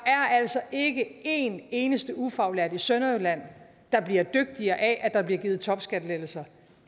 altså ikke en eneste ufaglært i sønderjylland der bliver dygtigere af at der bliver givet topskattelettelser